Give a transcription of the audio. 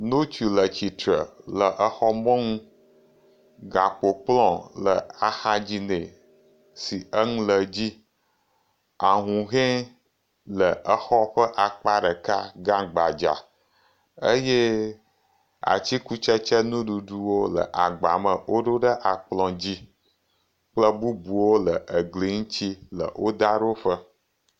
Ŋutsu le tsitre le exɔ mɔnu, gakpokplɔ le axadzi nɛ, si enu le dzi, ahuhɔe le xɔ ƒe akpa ɖeka gã gbadza eye atikutsetse nuɖuɖuwo le agba me woɖo ɖe akplɔ dzi kple bubuwo le egli ŋuti le wodaɖoƒe.